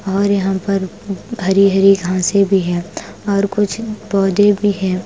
और यहां पर हरी-हरी घांसे भी हैं और कुछ पौधे भी है ।